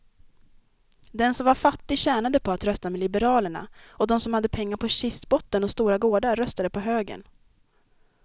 Den som var fattig tjänade på att rösta med liberalerna och de som hade pengar på kistbotten och stora gårdar röstade på högern.